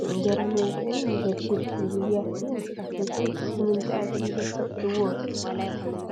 ንእንጀራ መብልዕን የገለግል፡፡ እዚ ብያቲ ንስኻትኩም ከ ንምንታይ ኣገልግሎት ተውዕልዎ?